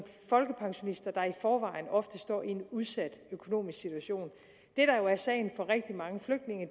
folkepensionister der i forvejen ofte står i en udsat økonomisk situation det der jo er sagen for rigtig mange flygtninge